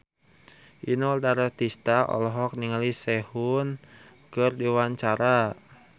Inul Daratista olohok ningali Sehun keur diwawancara